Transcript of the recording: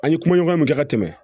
An ye kuma ɲɔgɔn kɛ ka tɛmɛ